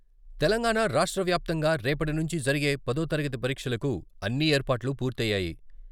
తెలంగాణ రాష్ట్ర వ్యాప్తంగా రేపటి నుంచి జరిగే పదోతరగతి పరీక్షలకు అన్ని ఏర్పాట్లు పూర్తయ్యాయి.